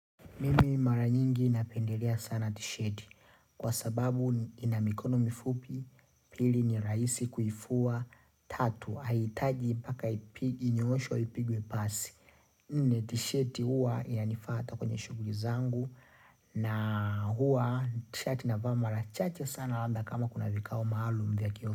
Mimi mara nyingi napendelea sana tisheti kwa sababu inamikono mifupi pili nirahisi kuivua tatu hahitaji mpaka inyoonshwe ipigwe pasi. Nne tisheti huwa yanifaa hata kwenye shughuli zangu na huwa tshati navaa mara chache sana labda kama kuna vikao maalum ya kio.